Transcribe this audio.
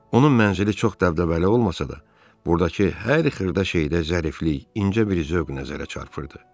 Onun mənzili çox dəbdəbəli olmasa da, burdakı hər xırda şeydə zəriflik, incə bir zövq nəzərə çarpırdı.